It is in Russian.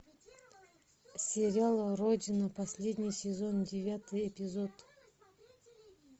сериал родина последний сезон девятый эпизод